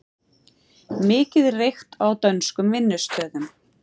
Mikið reykt á dönskum vinnustöðum